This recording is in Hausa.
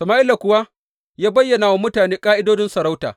Sama’ila kuwa ya bayyana wa mutane ƙa’idodin sarauta.